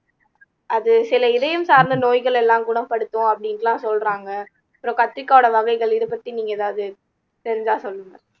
அது சில இதயம் சார்ந்த நோய்கள் எல்லாம் குணப்படுத்தும் அப்படின்ட்டு எல்லாம் சொல்றாங்க அப்புறம் கத்திக்காயோட வகைகள் இத பத்தி நீங்க ஏதாவது தெரிஞ்சா சொல்லுங்க